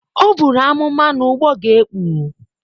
O buru amụma na ụgbọ ga-ekpu.